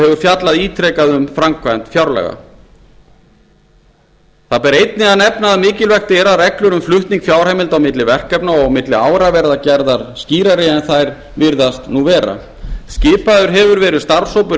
hefur fjallað ítrekað um framkvæmd fjárlaga það ber einnig að nefna að mikilvægt er að reglur um flutning fjárheimilda á milli verkefna og á milli ára verði gerðar skýrari en þær virðast nú vera skipaður hefur verið starfshópur